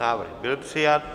Návrh byl přijat.